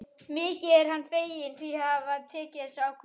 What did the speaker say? Mikið er hann feginn því að hafa tekið þessa ákvörðun.